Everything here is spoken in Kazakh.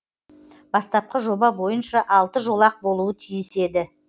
бастапқы жоба бойынша алты жолақ болуы тиіс еді